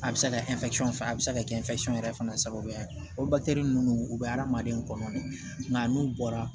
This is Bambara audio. A bɛ se ka kɛ fana a bɛ se ka kɛ yɛrɛ fana sababuya ye o ninnu u bɛ adamaden kɔnɔ de nka n'u bɔra